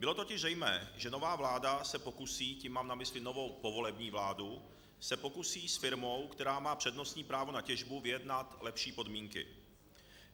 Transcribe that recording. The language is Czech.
Bylo totiž zřejmé, že nová vláda se pokusí, tím mám na mysli novou povolební vládu, se pokusí s firmou, která má přednostní právo na těžbu, vyjednat lepší podmínky.